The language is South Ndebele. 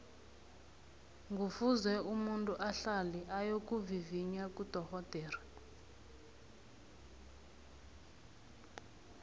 ngufuze umuntu ahlale ayokuvivinya kudorhodere